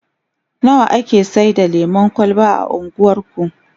nawa ake Saida lemun kwalba a unguwarku?